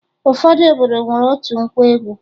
Ụfọdụ obodo nwere otu nkwa egwu